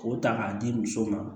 K'o ta k'a di muso ma